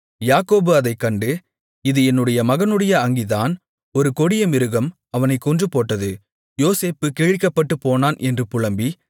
யாக்கோபு அதைக் கண்டு இது என் மகனுடைய அங்கிதான் ஒரு கொடியமிருகம் அவனைக் கொன்றுபோட்டது யோசேப்பு கிழிக்கப்பட்டுப் போனான் என்று புலம்பி